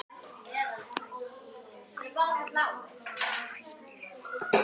Hvað ætlið þið að gera?